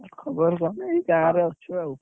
ଖବର କଣ ଏଇ ଗାଁ ରେ, ଅଛି ଆଉ।